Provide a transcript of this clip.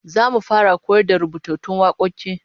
Zamu fara koyar da rubutattun wakoki